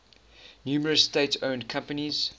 numerous state owned companies